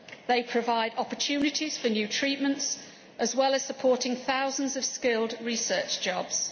They provide opportunities for new treatments, as well as supporting thousands of skilled research jobs.